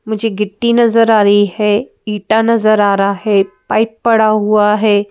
मुझे गिट्टी नजर आ रही है ईटा नजर आ रहा है पाइप पड़ा हुआ है।